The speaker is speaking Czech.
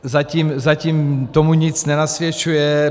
Zatím tomu nic nenasvědčuje.